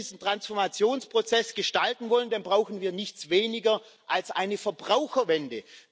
Wenn wir diesen Transformationsprozess gestalten wollen, dann brauchen wir nichts weniger als eine Verbraucherwende.